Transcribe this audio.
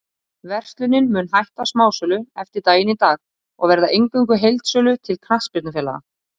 Verslunin mun hætta smásölu eftir daginn í dag og verða eingöngu í heildsölu til knattspyrnufélaga.